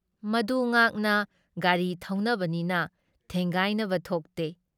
ꯃꯗꯨ ꯉꯥꯛꯅ ꯒꯥꯔꯤ ꯊꯧꯅꯕꯅꯤꯅ ꯊꯦꯡꯒꯥꯏꯅꯕ ꯊꯣꯛꯇꯦ ꯫